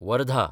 Wardha